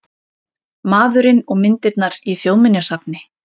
Maðurinn og myndirnar í Þjóðminjasafni